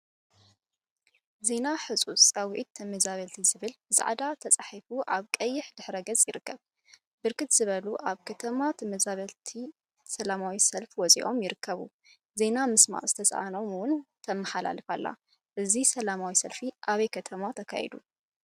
ዜና ህፁፅ ፃውዒተ ተመዛበልቲ ዝብል ብፃዕዳ ተፃሒፉ አብ ቀይሕ ድሕረ ገፅ ይርከብ፡፡ ብርክት ዝበሉ አብ ከተማ ተመዛበልቲ ሰለማዊ ሰልፊ ወፂኦም ይርከቡ፡፡ ዜና ምስማዕ ዝትሰአኖም እውን ተመሓላልፈ አላ፡፡ እዚ ሰለማዊ ሰልፊ አበይ ከተማ እዩ ተካይዱ?